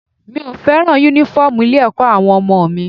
Mi ò fẹ́ràn Únífọ́ọ̀mù ilé-ẹ̀kọ́ àwọn ọmọ mi